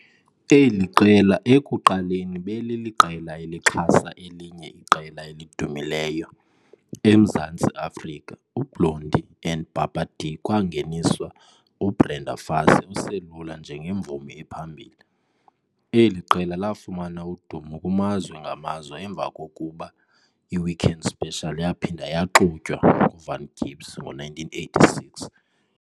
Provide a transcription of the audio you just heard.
Eli qela ekuqaleni beliliqela elixhasa elinye iqela elidumileyo eMzantsi Afrika uBlondie and Pappa de kwangeniswa uBrenda Fassie oselula njengemvumi ephambili. Eli qela lafumana udumo kumazwe ngamazwe emva kokuba "iWeekend Special" yaphinda yaxutywa nguVan Gibbs ngo-1986.